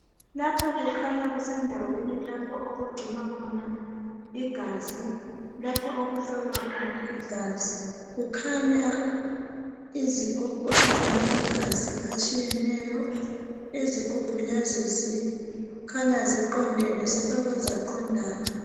Lapha kukhanya kusendaweni lapho okugcinwa khona igazi .Lapho okuhlolwa khona igazi .Kukhanya izigubhu ezilamagazi atshiyeneyo .Izigubhu lezi kukhanya ziqondene . Zifakwe zaqondana .